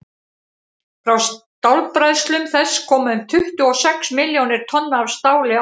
frá stálbræðslum þess koma um tuttugu og sex milljónir tonna af stáli árlega